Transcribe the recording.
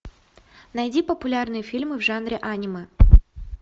найди популярные фильмы в жанре аниме